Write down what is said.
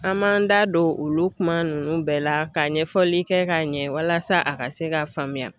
An b'an da don olu kuma nunnu bɛɛ la ka ɲɛfɔli kɛ k'a ɲɛ walasa a ka se k'a faamuya.